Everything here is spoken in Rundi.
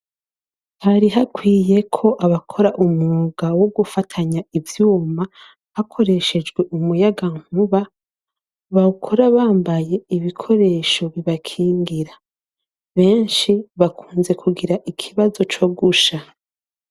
Hari hakwiye ko abakora umwuga wo gufatanya ivyuma hakoreshejwe umuyaga nkuba bakora bambaye ibikoresho bibakingira benshi bakunze kugira ikibazo co gusha.